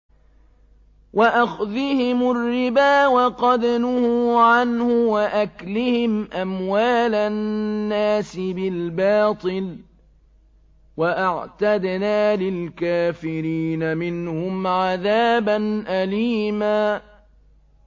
وَأَخْذِهِمُ الرِّبَا وَقَدْ نُهُوا عَنْهُ وَأَكْلِهِمْ أَمْوَالَ النَّاسِ بِالْبَاطِلِ ۚ وَأَعْتَدْنَا لِلْكَافِرِينَ مِنْهُمْ عَذَابًا أَلِيمًا